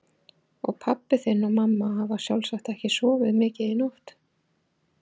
Og pabbi þinn og mamma hafa sjálfsagt ekki sofið mikið í nótt.